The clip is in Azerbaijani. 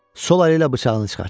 Sol əli ilə bıçağını çıxartdı.